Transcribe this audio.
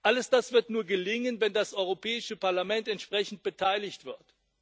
Alles das wird nur gelingen, wenn das Europäische Parlament entsprechend beteiligt wird.